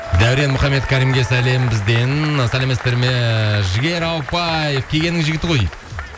дәурен мұхаммедкәрімге сәлем бізден сәлеметсіздер ме жігер ауыпбаев кегеннің жігіті ғой дейді